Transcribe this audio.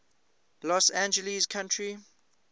los angeles county